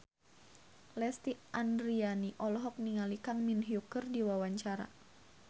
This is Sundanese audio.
Lesti Andryani olohok ningali Kang Min Hyuk keur diwawancara